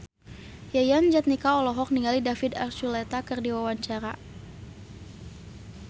Yayan Jatnika olohok ningali David Archuletta keur diwawancara